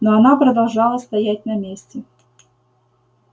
но она продолжала стоять на месте